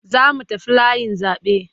Za mu tafi layin zaɓe.